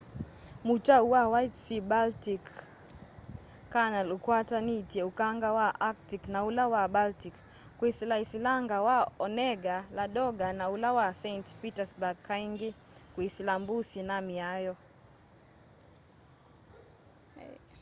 mutau wa white sea-baltic canal ukwatanitye ukanga wa arctic na ula wa baltic kwisila silanga wa onega ladoga na ula wa saint petersburg kaingi kwisila mbusi na maia